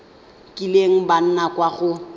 kileng ba nna kwa go